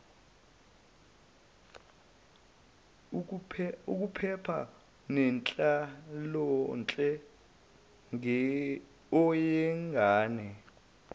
ukuphepha nenhlalonhle yengane